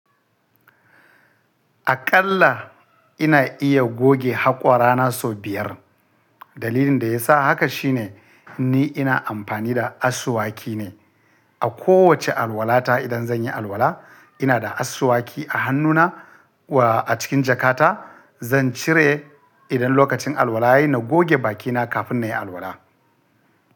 Aƙalla ina iya goge haƙora na sau biyar. Dalilin da ya sa haka shine ni ina amfani da asuwaki ne a kowace alwala ta. Idan zan yi alwala ina da asuwaki a hannuna wa a cikin jakata. Zan cire idan lokacin alwala yayi na goge bakina kafin na yi alwala.